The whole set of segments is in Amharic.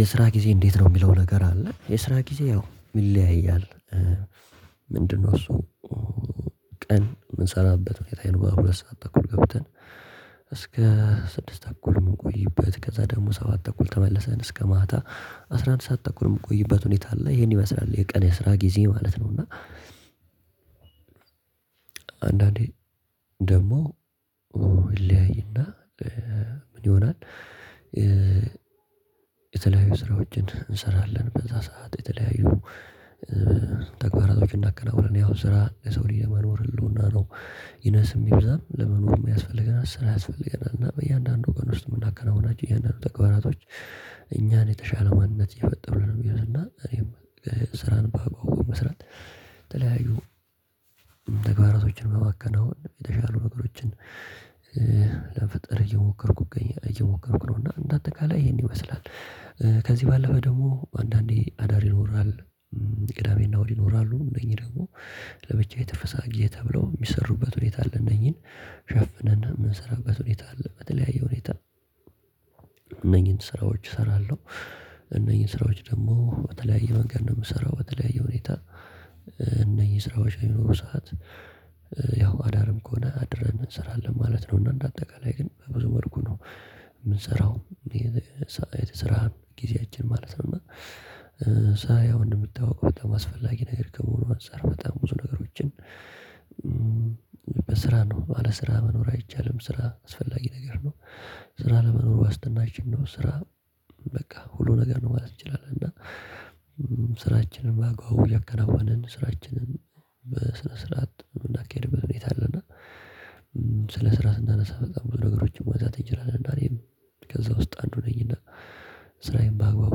የስራ ጊዜ እንዴት ነው የሚለው ነገር አለ የስራ ጊዜ ያው ይለያያል ምንድነው እሱ ቀን የምንሰራበት ቤት አይኖርም ሁለት ሰዓት ተኩል ገብተን እስከ ስድስት ተኩል መቆይበት ከዛ ደግሞ ሰባት አኩል ተመለሰን እስከ ማታ አስራ አንድ ሰዓት ተኩል ምቆይበት ሁኔታ አለ። ይሄን ይመስላል የቀን የስራ ጊዜዬ ማለት ነው። እና አንዳንዴ ደግሞ ምንድነው እሱ ቀን የምንሰራበት ቤት አይኖርም ሁለት ሰዓት ተኩል ገብተን እስከ ስድስት ተኩል መቆይበት ከዛ ደግሞ ሰባት አኩል ተመለሰን እስከ ማታ የተለያዩ ስራዎችን እንሰራለን በዛ ሰዓት የተለያዩ ተግባራቶችን እናከናውናለን ያው ስራ የሰው ልጅ የመኖር ህልውና ነው ይነስም ይብዛም ለምኖርምመ ያስፈልገናል ስራ ያስፈልገናል እና በእያንዳንዱ አን ውስጥ የምናከናውናቸው እያንዳንዱ ተግባራቶች እኛን የተሻሉ ማንነቶች እየፈጠሩልን ነው ሚሆኑትና እኔም ስራን በአግባቡ በመስራት የተለያዩ ተግባራቶችን በማከናወን የተሻሉ ነገሮችን ለመፍጠር እየሞከርሁ እገኛለሁ እየሞከርሁ ነውና እንደአጠቃላይ ይሄን ይመስላል ከዚህ ባለፈ ደግሞ አንዳንዴ አዳር ይኖራል። ቅዳሜና እሁድ ይኖራሉ። እነኚህ ደግሞ ለብቻ የተፈሳ ጊዜ ተብለው ሚሰሩበት ሁኔታ አለ። እነኚህን ሸፍነን ምንሰራበት ሁኔታ አለ። በተለያየ ሁኔታ እነኚህን ስራዎች እሰራለሁ። እነኚህን ስራዎች ደግሞ በተለያዩ መንገድ ነው ምሰራው። በተለያዩ ሁኔታ እነኚህ ስራዎች ሚኖሩ ሰዓት ያው አዳርም ከሆነ አድረን እንሰራለን ማለት ነው። እና እንደ አጠቃላይ ግን በብዙ መልኩ ነው ምንሰራው። የስራ ጊዜያችን ማለት ነው። እና ሳየው እንደሚታውቀው በጣም አስፈላጊ ነገር ከመሆኑ አንፃር በጣም ብዙ ነገሮችን በስራ ነው። አለስራ መኖር አይቻልም። ስራ አስፈላጊ ነገር ነው። ስራ ለመኖር ዋስትናችን ነው። ስራ በቃ ሁሉ ነገር ነው ማለት እንችላለን። እና ስራችንን በአግባቡ እያከናወንን ስራችንን በስነስርዓት ምናካሂድበት ሁኔታ አለ እና ስለ ስራ ስናነሳ በጣም ብዙ ነገሮችን መውዛት እንችላለን። እና እኔም ከዛ ውስጥ አንዱ ነኝ እና ስራዬን በአግባቡ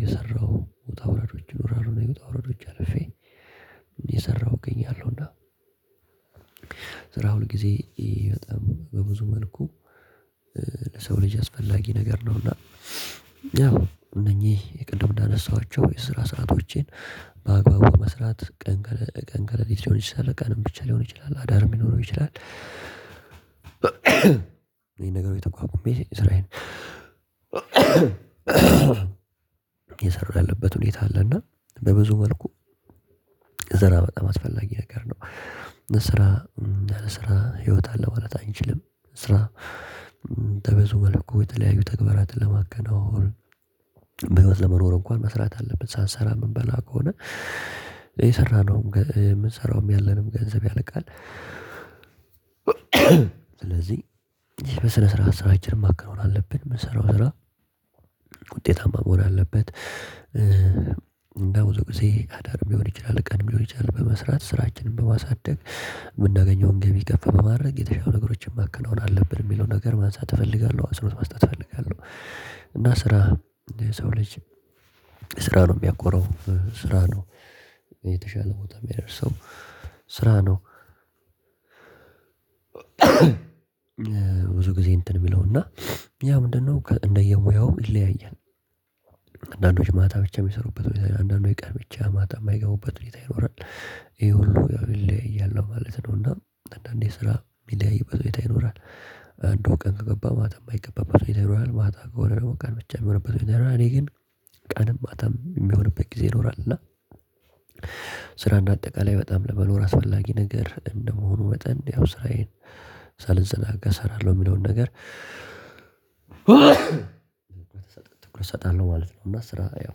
እየሰራሁ ውጣ ወረዶች ይኖራሉ። እኔ ውጣ ወረዶች አልፌ የሰራሁ እገኛለሁ። እና ሁል ጊዜ በጣም በብዙ መልኩ ለሰው ልጅ አስፈላጊ ነገር ነው። እና እነኚህ የቅድም እንዳነሳኋቸው የስራ ሰአቶቼን በአግባቡ መስራት ቀን ቀን ቀን ሊሆን ይችላል ቀንም ብቻ ሊሆን ይችላል አዳርም ሊኖረው ይችላል። እኚን ነገሮች ተቋቁሜ ስራዬን እየሰራሁ ያለበት ሁኔታ አለ እና በብዙ መልኩ ስራ በጣም አስፈላጊ ነገር ነው። ስራ ያለስራ ህይወት አለ ማለት አንችልም። ስራ በብዙ መለኩ የተለያዩ ተግባራትን ለማከናወን በህይወት ለመኖር እንኳን መስራት አለብን ሳንሰራ ምንበላ ከሆነ የሰራነውም የምንሰራውም ያለንም ገንዘብ ያለቃል። ስለዚህ ይሄ በስነስርዓት ስራችንን ማከናወን አለብን። የምንሰራው ስራ ውጤታማ መሆን አለበት። በብዙ ጊዜ አዳርም ሊሆን ይችላል ቀንም ሊሆን ይችላል በመስራት ስራችንን በማሳደግ የምናገኘውን ገቢ ከፍ በማድረግ የተሻለ ነገሮችን ማከናወን አለብን ሚለውን ነገር ማንሳት እፈልጋለሁ አፀንኦት መስጠት እፈልጋለሁ። እና ስራ የሰው ልጅ ስራ ነው ሚያኮራው። ስራ ነው የተሻለ ቦታ ሚያደርሰው። ስራ ነው ብዙ ጊዜ እንትን ምለው እና ያ ምንድነው እንደየሙያው ይለያያል። አንዳንዶች ማታ ብቻ ሚሰሩበት ሁኔታ ይኖራል። አንዳንዶች ቀን ብቻ ማታ የማይገቡበት ሁኔታ ይኖራል። ይሄ ሁሉ ያው ይለያያል ለማለት ነው። እና አንዳንዴ ስራ የሚለያይበት ሁኔታ ይኖራል። አንዱ ቀን ከገባ ማታ የማይገባበት ሁኔታ ይኖራል ማታ ከሆነ ደግሞ ቀን ብቻ የሚሆንበት ሁኔታ ይኖራል። እኔ ግን ቀንም ማታም የሚሆንበት ጊዜ ይኖራል እና ስራ እንደ አጠቃላይ በጣም ለመኖር አስፈላጊ ነገር እንደመሆኑ መጠን ያው ስራዬን ሳልዘናጋ እሰራለሁ የሚለውን ነገር ትኩረት እሰጣለሁ ማለት ነው። እና ስራ ያው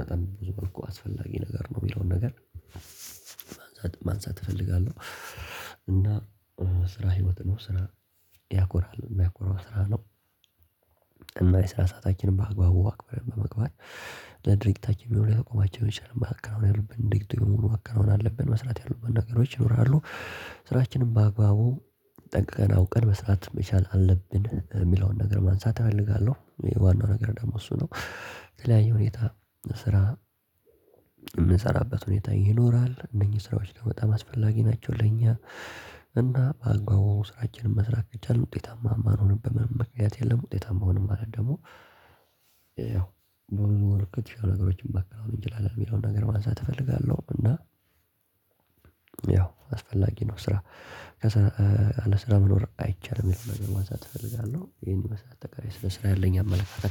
በጣም በብዙ መልኩ አስፈላጊ ነገር ነው የሚለውን ነገር ማንሳት እፈልጋለሁ። እና ስራ ህይወት ነው። ስራ ያኮራል። የሚያኮራው ስራ ነው። እና የስራ ሰአታችንን በአግባቡ አክብረን በመግባት ለድርጅታችን የሚሆን ሊያቆማቸው ይችላል። ማከናወን ያሉብንን ንግድ በሙሉ ማከናወን አለብን። መስራት ያሉብን ነገሮች ይኖራሉ። ስራችንን በአግባቡ ጠንቅቀን አውቀን መስራት መቻል አለብን ሚለውን ነገር ማንሳት እፈልጋለሁ። ዋናው ነገር ደግሞ እሱ ነው። በተለያዩ ሁኔታ ስራ የምንሰራበት ሁኔታ ይኖራል። እነኚህ ስራዎች በጣም አስፈላጊ ናቸው ለኛ። እና በአግባቡ ስራችንን መስራት ከቻንልን ውጤታማ ማንሆንበት ምንም ምክንያት የለም። ውጤታማ ሆንን ማለት ደግሞ ያው በብዙ መልኩ የተሻሉ ነገሮችን ማከናወን እንችላለን ሚለውን ነገር ማንሳት እፈልጋለሁ። እና ያው አስፈላጊ ነው ስራ። አለስራ መኖር አይቻልም አይነት ነገር ማንሳት እፈልጋለሁ። ይሄን ይመስላል አጠቃላይ ስለ ስራ ያለኝ አመለካከት።